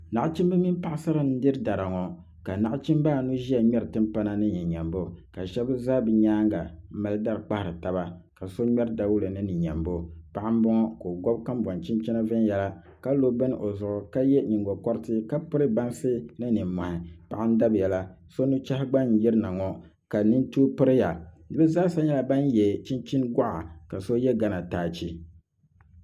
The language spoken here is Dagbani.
Nachimbi mini paɣasara n diri dari ŋo ka nachimbi anu ʒiya ŋmɛri timpana ni ni nyɛmbo ka shab za bi nyaanga n mali dari kpahari taba ka so ŋmɛri dawulɛ ni ni nyɛmbo paɣa n boŋo ka o gobi kanboŋ chinchina viɛnyɛla ka lo bini o zuɣu ka yɛ liiga paɣa n dabiya la so nuchɛhi gba n yirina ŋo ka nintui piriya bi zaa sa nyɛla ban yɛ chinchin goɣa ka so yɛ gana taachi